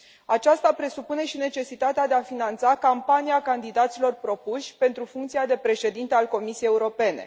Aceasta presupune și necesitatea de a finanța campania candidaților propuși pentru funcția de președinte al Comisiei Europene.